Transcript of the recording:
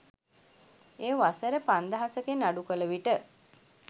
එය වසර පන්දහසකින් අඩු කළ විට